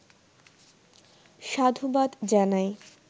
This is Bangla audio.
সাধুবাদ জানাই